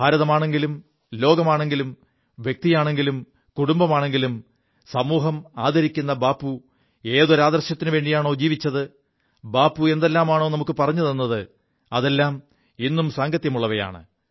ഭാരതമാണെങ്കിലും ലോകമാണെങ്കിലും വ്യക്തിയാണെങ്കിലും കുടുംബമാണെങ്കിലും സമൂഹമാദരിക്കു ബാപ്പു ഏതൊരു ആദർശത്തിനുവേണ്ടിയാണോ ജീവിച്ചത് ബാപ്പു എന്തെല്ലാമാണോ നമുക്കു പറഞ്ഞു തത് അതെല്ലാം ഇും സാംഗത്യമുള്ളവയാണ്